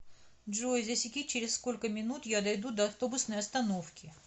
джой засеки через сколько минут я дойду до автобусной остановки